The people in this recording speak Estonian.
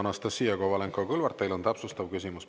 Anastassia Kovalenko-Kõlvart, teil on täpsustav küsimus.